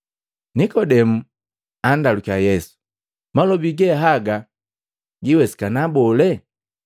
Nikodemu andalukiya Yesu, “Malobi ge haga gawesikana bole?”